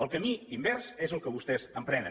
el camí invers és el que vostès emprenen